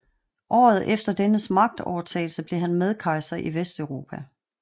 Året efter dennes magtovertagelse blev han medkejser i Vesteuropa